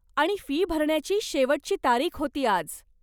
आणि फी भरण्याची शेवटची तारीख होती आज.